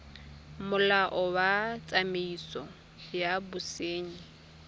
molao wa tsamaiso ya bosenyi